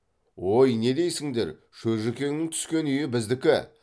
ой не дейсіңдер шөжікеңнің түскен үйі біздікі